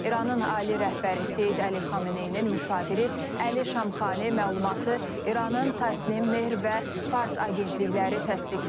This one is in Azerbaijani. İranın ali rəhbəri Seyid Əli Xameneyinin müşaviri Əli Şamxani məlumatı İranın təsnim, Mehr və Fars agentlikləri təsdiqləyib.